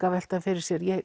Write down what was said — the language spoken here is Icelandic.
að velta fyrir sér